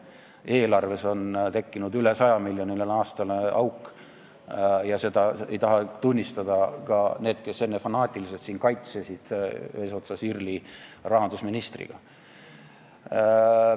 Eelarves on tekkinud aastas üle 100 miljoni euro suurune auk ja seda ei taha tunnistada ka need, kes enne fanaatiliselt siin seda kõike kaitsesid, eesotsas IRL-i rahandusministriga.